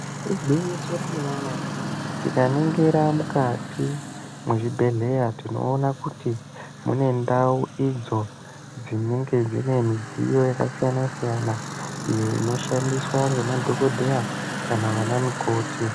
Igwinyiso remene mene tikaningira mukati mwezvibhedhlera tinoona kuti mune ndau idzo dzinenge dzine midziyo yakasiyana siyana iyo inoshandiswa ngemadhokodheya kana vana mukoti.